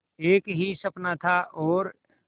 एक ही सपना था और